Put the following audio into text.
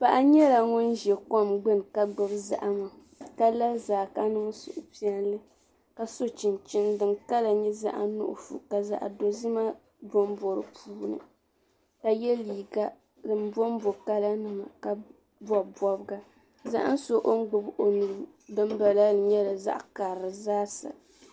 Paɣa nyɛla ŋun ʒi kom gbuni ka gbubi. zahama, kala zaa ka niŋ suhupiɛli ka so chinchini din kala nyɛ zaɣi nuɣuso ka zaɣi dozima. bɔmbɔ di puuni, ka ye liiga dim bɔmbɔ kala nima ka bɔbi bɔbga zahinsɔ ɔngbubi ɔnuu dim bala la ni nyɛla zaɣi karili